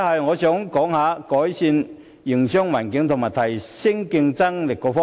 我想談談改善營商環境及提升競爭力的措施。